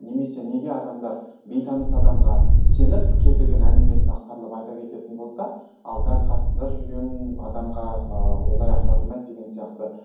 немесе неге адамдар бейтаныс адамға сеніп кез келген әңгімесін ақтарылып айта кететін болса ал дәл қасында жүрген адамға ы олай ақтарылмайды деген сияқты